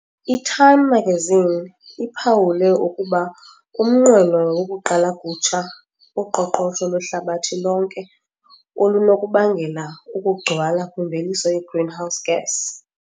I-Time magazine iphawule ukuba umnqweno "wokuqala kutsha" uqoqosho lwehlabathi lonke olunokubangela ukugcwala kwimveliso ye-greenhouse gas.